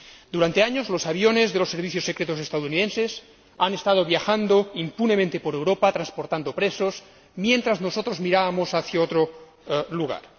Durante años, los aviones de los servicios secretos estadounidenses han estado viajando impunemente por Europa, transportando presos, mientras nosotros mirábamos hacia otro lugar.